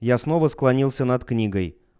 я снова склонился над книгой